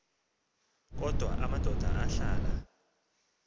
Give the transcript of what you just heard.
kodwa amadoda ahlala